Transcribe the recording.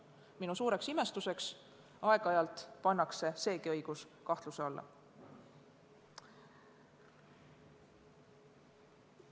Minu suureks imestuseks pannakse seegi õigus aeg-ajalt kahtluse alla.